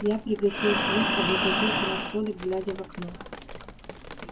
я пригасил свет облокотился на столик глядя в окно